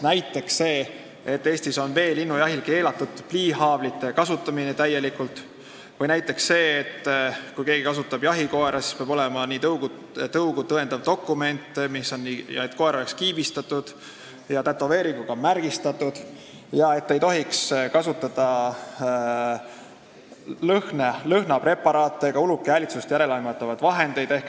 Näiteks on Eestis veelinnujahil täielikult keelatud pliihaavlite kasutamine või kui keegi kasutab jahikoera, siis peab tal olema tõugu tõendav dokument ja koer peab olema kiibistatud ja tätoveeringuga märgistatud ning ei tohi kasutada lõhnapreparaate ega uluki häälitsust järeleaimavaid vahendeid.